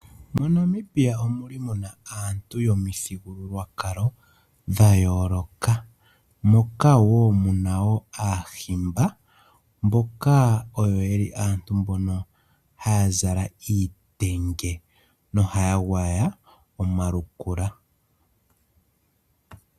Mo Namibia omu li muna aantu yomuthigululwakalo dha yooloka, moka wo mu li muna aahimba mboka ha ya zala iitenge no ha ya gwaya omalukula.